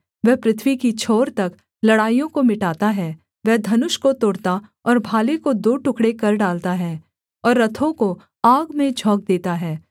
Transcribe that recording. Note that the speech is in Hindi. वह पृथ्वी की छोर तक लड़ाइयों को मिटाता है वह धनुष को तोड़ता और भाले को दो टुकड़े कर डालता है और रथों को आग में झोंक देता है